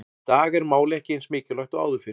Í dag er málið ekki eins mikilvægt og áður fyrr.